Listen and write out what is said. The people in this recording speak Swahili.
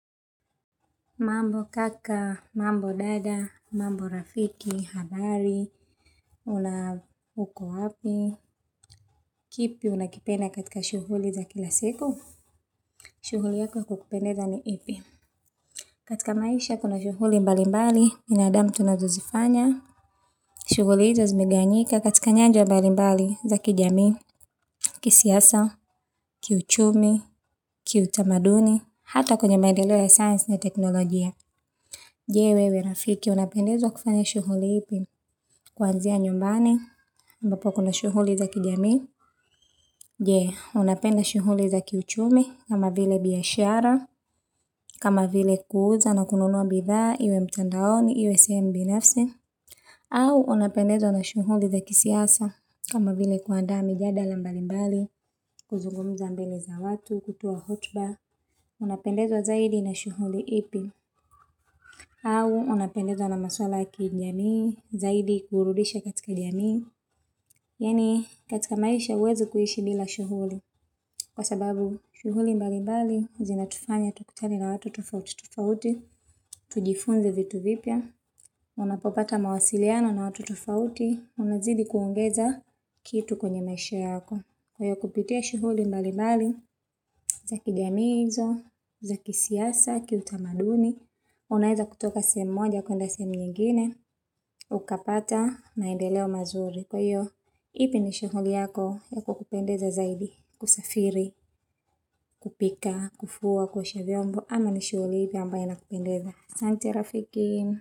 Mambo kaka, mambo dada, mambo rafiki, habari, una huko wapi, kipi una kipenda katika shughuli za kilasiku, shughuli yako kukupendeza ni ipi. Katika maisha kuna shughuli mbali mbali, binadam tunazuzifanya, shughuli izo zimigawanyika, katika nyanja mbali mbali za kijamii, kisiasa, kiu chumi, kiu tamaduni. Hata kwenye maendeleo ya science na technologia. Jee wewe rafiki, una pendezwa kufanya shughuli ipi kuanzia nyumbani, ambo kuna shughuli za kijami. Jee, una penda shuhuli za kiu chumi kama vile biashara, kama vile kuuzana kununua biza, iwe mtandaoni, iwe si mbi nafsi. Au, una pendezwa na shughuli za kisiasa, kama vile kuandaa mijadala mbali mbali, kuzungumuza mbeli za watu, kutua hotuba. Una pendezwa zaidi na shughuli ipi. Au, una pendezwa na maswala ya kijami, zaidi kuburudisha katika kijami. Yani katika maisha uwezi kuishi bila shughuli. Kwa sababu, shughuli mbali mbali zina tufanya tukutane na watu tufauti tufauti. Tujifunze vitu vipya. Una popata mawasiliano na watu tufauti. Una zidi kuongeza kitu kwenye maisha yako. Kwa kuputia shughuli mbali mbali za kijami izo, za kisiasa, kiu tamaduni. Unaida kutuka sehemu moja kuenda sehemu nyingine. Ukapata maendeleo mazuri kwa iyo. Ipi nishughuli yako, ya kukupendeza zaidi, kusafiri, kupika, kufua, kuosha vyombo, ama nishughuli ipi ambayo inakupendeza. Asante rafiki.